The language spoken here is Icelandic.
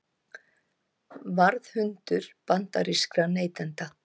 Varðhundur bandarískra neytenda